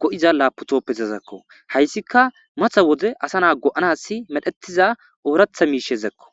go7iza laaputooppezazakko hayssika matha wode asa naa go7anas medhetiza ooratha miishezakko